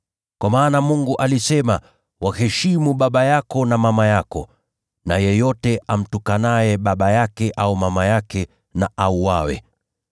Kwa maana Mungu alisema, ‘Waheshimu baba yako na mama yako,’ na, ‘Yeyote amtukanaye baba yake au mama yake, na auawe.’